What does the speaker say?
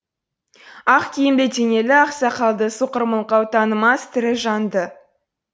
ақ киімді денелі ақ сақалды соқыр мылқау танымас тірі жанды